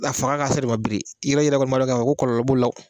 A faga kasɔrɔ i ma biri i yɛrɛ kɔni b'a dɔn ko kɔlɔlɔ b'o la